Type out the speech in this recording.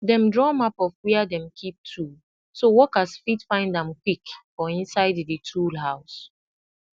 dem draw map of where dem keep tool so workers fit find am quick for inside di tool house